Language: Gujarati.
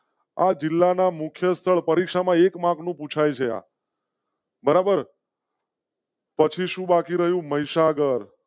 જિલ્લાના મુખ્ય સ્થળે પરીક્ષા માં એક માર્ગનું પૂછા યા. બરાબર. પછી શું બાકી રહ્યું મહીસાગર.